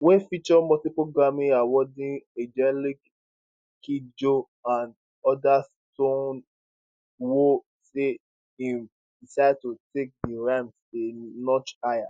wey feature multiple grammy awardwinning angelique kidjo and odas stonebwoy say im decide to take di rhythm a notch higher